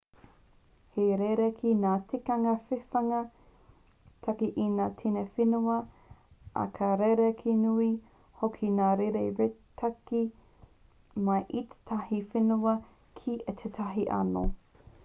he rerekē ngā tikanga whiwhinga tāke i ngā tini whenua ā ka rerekē nui hoki ngā rēti tāke mai i tētahi whenua ki tētahi anō